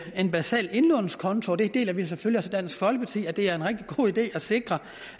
en basal indlånskonto og det deler vi selvfølgelig i dansk folkeparti det er en rigtig god idé at sikre